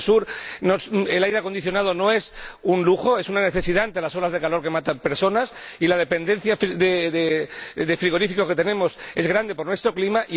Porque en el Sur el aire acondicionado no es un lujo —es una necesidad ante las olas de calor que matan personas— y la dependencia del frigorífico es grande por nuestro clima.